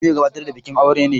Ni mai gabatar da bikin aure ne.